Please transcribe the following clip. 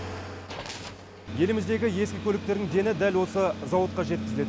еліміздегі ескі көліктердің дені дәл осы зауытқа жеткізіледі